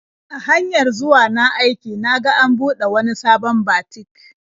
A hanyar zuwa na aiki na ga an buɗe wani sabon batik.